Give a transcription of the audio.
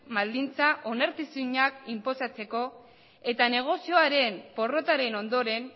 baldintza onartezinak inposatzeko eta negozioaren porrotaren ondoren